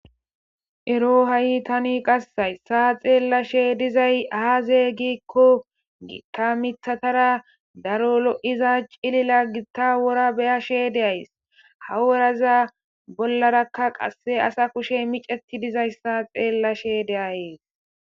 Ero hayssani tani qasse xeelashe dizay aaze giiko gita miththatara daro woray cililidi dizayssa be7ashe days. ha woraza bollaraka assa kusheyi miceti dizayisa beyashe dayis